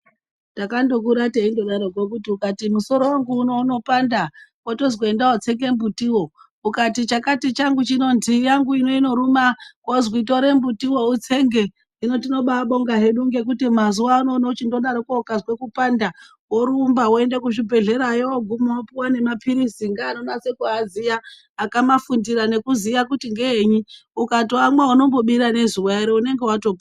Takandokura teindodaroko kuti ukati musoro wangu uno unopanda wotozwi enda wotsenge mbutiwo. Ukati chakati changu chino, ndii yangu ino inoruma wozwi tore mbutiwo utsenge. Hino tinobaabonga hedu ngekuti mazuvano unochindodarokwo, ukazwe kupanda, worumba woende kuzvibhedhlerayo wooguma wopuwe nemapirizi ngeanonase kuaziya akamafundira nekuziya kuti ngeenyi. Ukatoamwa unombobira ngezuva ere unenge watopora.